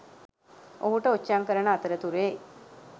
ඔහුට ඔච්චම් කරන අතරතුරේ